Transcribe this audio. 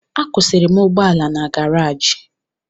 Akwụsịrị m ụgbọala na garaji